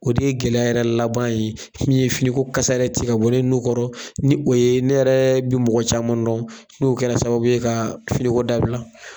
O de ye gɛlɛya yɛrɛ laban ye, min ye finiko kasa yɛrɛ ti ka bɔ ne nu kɔrɔ ni o ye ne yɛrɛ bi mɔgɔ caman dɔn, n'o kɛra sababu ye ka finiko dabila.